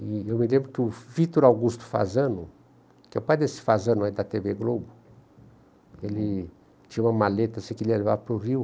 E eu me lembro que o Vitor Augusto Fasano, que é o pai desse Fasano aí da tê vê Globo, ele tinha uma maleta assim que ele ia levar para o rio.